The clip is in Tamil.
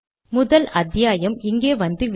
கம்பைல் செய்கிறேன்